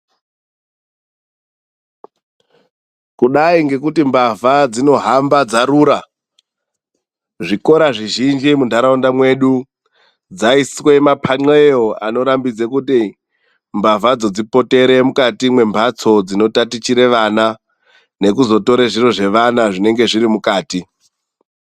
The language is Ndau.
Kudai ngekuti mbavha dzinohamba dzarura. Zvikora zvizhinji muntaraunda medu dzaiiswe maphanxeyo anorambidze kuti mbavhadzo dzipotere mukati mwembatso dzinotatichire vana nekuzotore zviro zvevana zvinenge zviri mukati.